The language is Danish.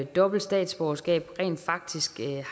dobbelt statsborgerskab rent faktisk